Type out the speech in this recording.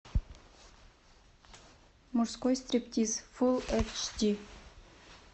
мужской стриптиз фулл эйч ди